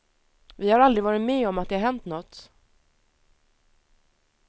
Vi har aldrig varit med om att det har hänt nåt.